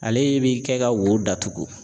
Ale bi kɛ ka wo datugu.